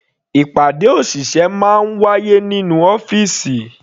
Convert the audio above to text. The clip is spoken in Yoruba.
Ìpàdé òṣìṣẹ́ máa ń wáyé nínú ọ́fìsì.